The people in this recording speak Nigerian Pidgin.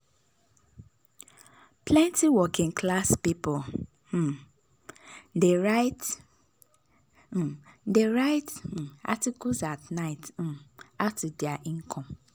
plenty working-class people um dey write um dey write um articles at night um add to their income.